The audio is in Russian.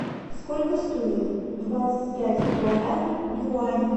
сколько стоит двадцать пять гуарани в юанях